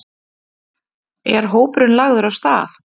Er hópurinn lagður af stað?